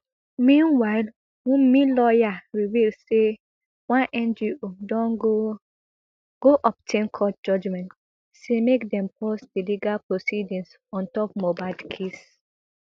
meanwhile wunmi lawyer reveal say one ngo don go obtain court judgement say make dem pause di legal proceedings ontop mohbad case